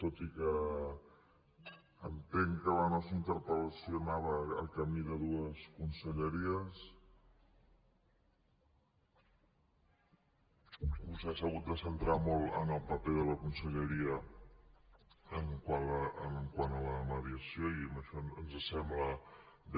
tot i que entenc que la nostra interpel·lació anava a camí de dues conselleries vostè s’ha hagut de centrar molt en el paper de la conselleria quant a la mediació i això ens sembla bé